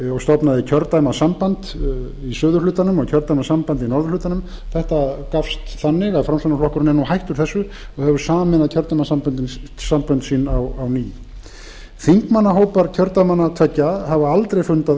og stofnaði kjördæmasamband í suðurhlutanum og kjördæmasamband í norðurhlutanum þetta gafst þannig að framsóknarflokkurinn er nú hættur þessu og hefur sameinað kjördæmasambönd sín á ný þingmannahópar kjördæmanna tveggja hafa aldrei fundað